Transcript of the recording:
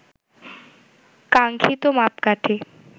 কাঙ্খিত মাপকাঠি